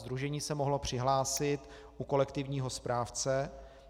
Sdružení se mohlo přihlásit u kolektivního správce.